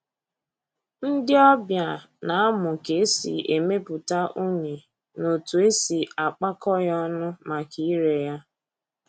Ndị ọbịa na-amụ ka e si emepụta unyi na otu e si akpakọ ya ọnụ maka ire ya